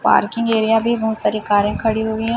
Parking area भी बहुत सारे कारें खड़ी हुई है।